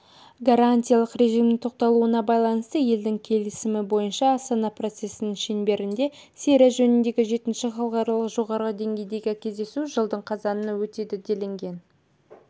гарантиялық режимнің тоқтатылуына байланысты елдердің келісімі бойынша астана процесінің шеңберінде сирия жөніндегі жетінші халықаралық жоғары деңгейдегі кездесу жылдың қазанында өтеді делінген